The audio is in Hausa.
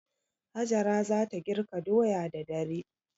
Hajara za ta girka doya da dare.